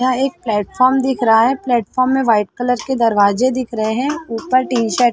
यहाँ एक पलेटफॉम दिख रहा है पलेटफॉम में वाइट कलर के दरवाजे दिख रहे है ऊपर टिन सेड --